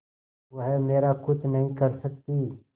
वह मेरा कुछ नहीं कर सकती